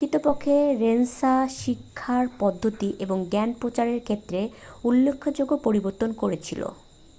প্রকৃতপক্ষে রেনেসাঁ শিক্ষার পদ্ধতি এবং জ্ঞান প্রচারের ক্ষেত্রে উল্লেখযোগ্য পরিবর্তন করেছিল